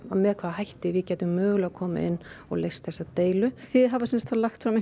með hvaða hætti við getum mögulega komið inn og leyst þessa deilu þið hafið sem sagt lagt fram